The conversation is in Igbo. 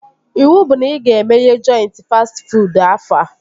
Iwu bụ na ị ga-emeghe jọintị fastị fuud afọ a!